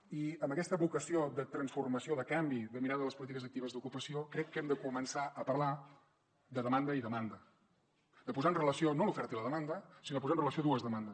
i amb aquesta vocació de transformació de canvi de mirada de les polítiques actives d’ocupació crec que hem de començar a parlar de demanda i demanda de posar en relació no l’oferta i la demanda sinó de posar en relació dues demandes